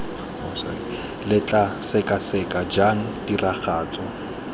lo tla sekaseka jang tiragatso